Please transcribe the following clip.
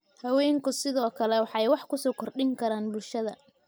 Haweenku sidoo kale waxay wax ku so kordhin karaan bulshada.